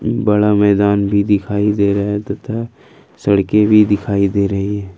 बड़ा मैदान भी दिखाई दे रहा है तथा सड़के भी दिखाई दे रही--